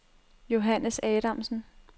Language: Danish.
Johannes Adamsen